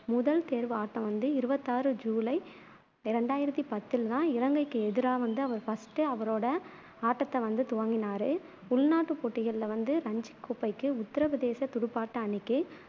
முதல் தேர்வு ஆட்டம் வந்து இருவத்தி ஆறு ஜூலை இரண்டாயிரத்தி பத்தில் தான் இலங்கைக்கு எதிரா வந்து அவரு first உ அவரோட ஆட்டத்தை வந்து துவங்கினாரு உள்நாட்டுப் போட்டிகளில வந்து ரஞ்சிக் கோப்பைக்கு உத்தரப் பிரதேசத் துடுப்பாட்ட அணிக்கு